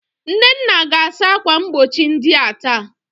Nnenna ga-asa akwa mgbochi ndia taa.